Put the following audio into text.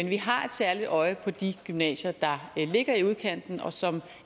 vi har et særligt øje på de gymnasier der ligger i udkanten og som